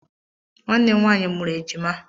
Nwanne m nwaanyị mụrụ ejima